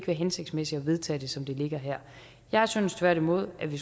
hensigtsmæssigt at vedtage det som det ligger her jeg synes tværtimod at vi